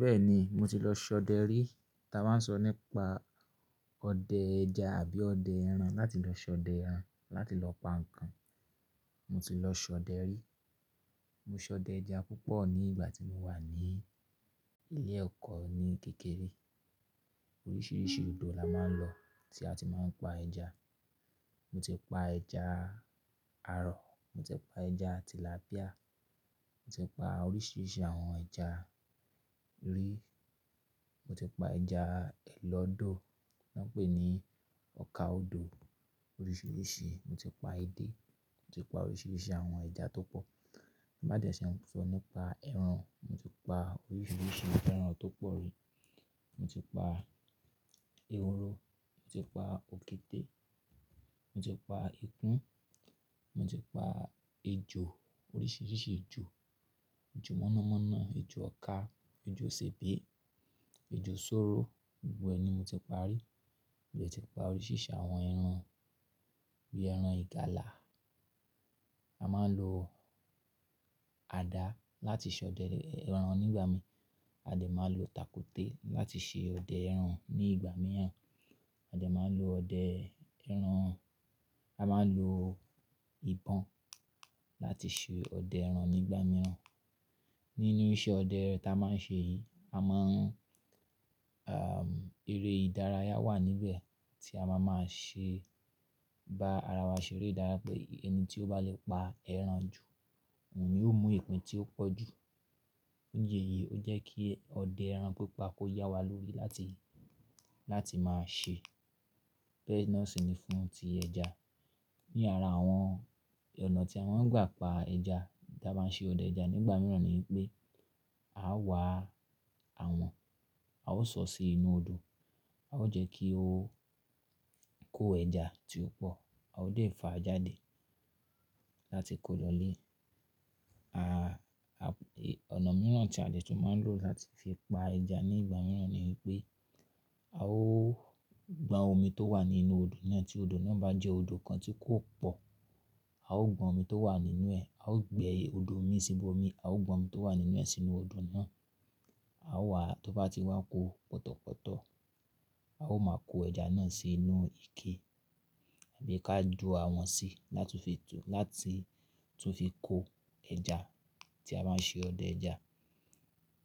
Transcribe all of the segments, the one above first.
Bẹ́ẹ̀ni, mo ti lọ ṣọdẹ rí. Ta bá ń sọ nípa ọdẹ ẹja àbí ọdẹ ẹran, láti lọ ṣọdẹ ẹran, láti lọ pa nǹkan. Mo ti lọ ṣọdẹ rí. Mo ṣọdẹ ẹja púpọ̀ ní ìgbà tí mo wà ní ilé ẹ̀kọ́ ní kékeré. Oríṣiríṣi odò la máa ń lọ tí a ti máa ń pa ẹja. Mo ti pa ẹja arọ̀, mo ti pa ẹja tilapíà, mo ti pa oríṣiríṣi àwọn ẹja rí. Mo ti pa ẹja ẹlọdò, wọ́n pè ní ọkà odò. Oríṣiríṣi, mo ti pa edé, mo ti pa oríṣiríṣi àwọn ẹja tó pọ̀. Bá dẹ ṣe, sọ nípa ẹran, mo ti pa oríṣiríṣi àwọn ẹran tó pọ̀ rí. Mo ti pa ehoro, mo ti pa òkété, mo ti pa ikùn, mo ti pa ejò, oríṣiríṣi ejò. Ejò mọ̀nàmọ́ná, ejò ọka, ejò sèbé, ejò sóro, gbogbo ẹ ni mo ti pa rí. Mo ti pa oríṣiríṣi àwọn ẹran bí ẹran ìgalà. A máa ń lo àdá láti ṣọdẹ ẹran nígbà mìíràn. A dẹ máa ń lo takúté láti ṣe ọdẹ ẹran nígbà mìíràn. A dẹ máa ń lo ọdẹ ẹran, a máa ń lo ìbọn láti ṣe ọdẹ ẹran nígbà mìíràn. Nínú iṣẹ́ ọdẹ ta máa ń ṣe yìí, a mọ, eré ìdárayá wà níbẹ̀ tí a máa máa ṣe bá ara wa ṣe eré ìdárayá pé ẹni tí ó bá lè pa ẹran jù, òun ni ó mú ìpín tí ó pọ̀ jù. Ní ìdí èyí, ó jẹ́ kí ọdẹ ẹran pípa kó yá wa lórí láti, láti máa ṣe bẹ́ẹ̀ na sì ni fún ti ẹja. Ni ara àwọn ọ̀nà tí a máa ń gbà pa ẹja tí a bá ń ṣe ọdẹ ẹja nígbà mìíràn ni pé a wá àwọ̀n, a ó sọ sí inú odò, a ó jẹ́ kí ó kó ẹja tí ó pọ̀, a ó dẹ fà á jáde láti kó lọ ilé. À, ọ̀nà mìíràn tí a lè tún máa ń lò láti fi pa ẹja nígbà mìíràn ni pé a ó gbọn omi tó wà nínú odò náà tí odò náà bá jẹ́ odò kan tí kò pọ̀, a ó gbọn omi tó wà nínú ẹ̀, a ó gbẹ odò mi síbọ mi, a ó gbọn omi tó wà nínú ẹ̀ sínú odò náà. A ó wá, tó bá ti wá kò pọ̀tọ̀pọ̀tọ̀, a ó máa kó ẹja náà sí inú ike àbí ká jú àwọ́n sí láti fi tú, láti tún fi kó ẹja tí a bá ń ṣe ọdẹ ẹja,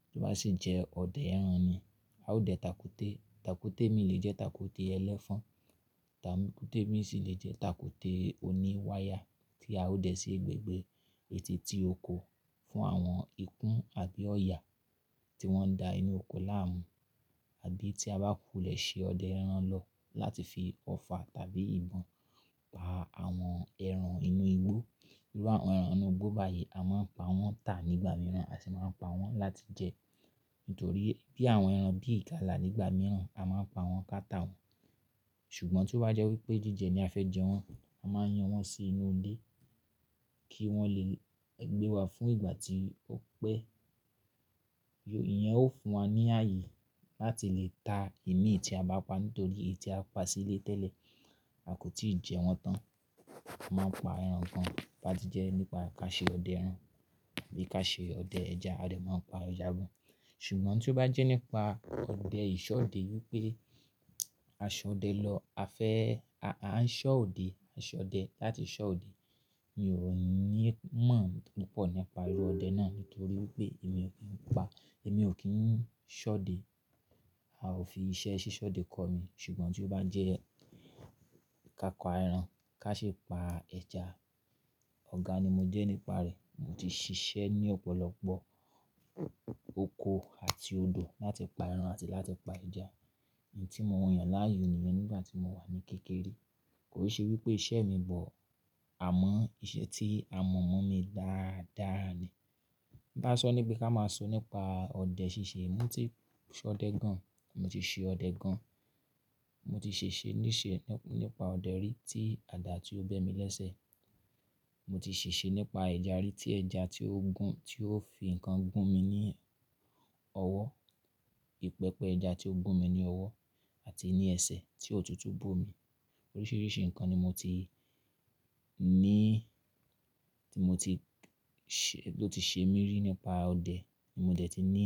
tí ó bá sì jẹ́ ọdẹ ẹran ni. A ó dẹ takúté, takúté mi lè jẹ́ takúté ẹlẹ́fọ̀n, takúté mi sì lè jẹ́ takúté oní wáyà tí a ó dẹ sí gbègbè eteeti oko fún àwọn ikún àbí ọ̀yà tí wọ́n da inú oko láàmú. Àbí tí a bá kù lẹ ṣe ọdẹ ẹran lọ láti fi ọfà tàbí ìbọn pa àwọn ẹran inú igbó. Irú àwọn ẹran inú igbó báyìí, a máa ń pa wọ́n tà nígbà mìíràn a sì máa ń pa wọ́n láti jẹ. Nítorí bí àwọn ẹran bí ìgalà nígbà mìíràn, a máa ń pa wọ́n k'á ta wọn. Ṣùgbọ́n tí ó bá jẹ́ wípé jíjẹ ni a fẹ́ jẹ wọ́n, a máa ń yan wọ́n sí inú ilé kí wọ́n lè gbé wa fún ìgbà tí ó pẹ́. Ìyẹn ó fún wa ní ààyè láti lè ta ìmí tí a bá pa, nítorí èyí tí a pa sílé tẹ́lẹ̀, a kò tí ì jẹ wọ́n tán. A máa ń pa ẹran kan bá ti jẹ nípa ká ṣe ọdẹ ẹran àbí ká ṣe ọdẹ ẹja, a dẹ̀ máa ń pa ẹja gan. Ṣùgbọ́n tí ó bá jẹ́ nípa ọdẹ ìṣọ òde wípé a ṣọdẹ lọ, a fẹ́, a ń ṣọ òde, a ń ṣọdẹ láti ṣọ òde. Mi ò ní mọ̀ púpọ̀ nípa irú ọdẹ náà nítorí wípé èmi ò kín pa, èmi ò kín ṣọ'de. A ò fi iṣẹ́ ṣíṣọ'de kọ́ mi. Ṣùgbọ́n tí ó bá jẹ́ ká pa ẹran, ká sì pa ẹja, ọ̀gá ni mo jẹ́ nípa rẹ̀. Mo ti ṣiṣẹ́ ní ọ̀pọ̀lọpọ̀ oko àti odò láti pa ẹran àti láti pa ẹja. Iń tí mo yàn láàyò nìyẹn nígbà tí mo wà ní kékeré. Kò ṣe wípé iṣẹ́ mi but, àmọ́ iṣẹ́ tí a mọ̀ mọ́ mi dáadáa ni. Ka sọ ní pé ká máa sọ nípa ọdẹ ṣíṣe, mo ti ṣọdẹ gan, mo ti ṣe ọdẹ gan. Mo ti ṣeṣe nípa ọdẹ rí tí àdá ti ó bẹ́ mi lẹ́sẹ̀. Mo ti ṣeṣe nípa ẹja rí tí ẹja tí ó gún, tí ó fi nǹkan gún mi ní ọwọ́. Pẹpẹ ẹja tí ó gun mi ní ọwọ́ àti ní ẹsẹ̀ tí òtútù bó mi. Oríṣiríṣi nǹkan ni mo ti ní, tí mo ti ṣe, ló ti ṣe mí rí nípa ọdẹ tí mo dẹ̀ ti ní.